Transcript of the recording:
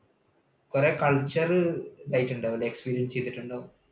കുറേ culture ഇത് ആയിട്ടുണ്ടാവും അല്ലേ experience ചെയ്തിട്ടുണ്ടാവും.